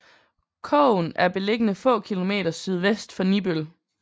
Kogen er beliggende få kilometer sydvest for Nibøl